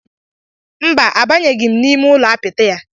Mba, abanyeghị m n'ụlọ apịtị ya.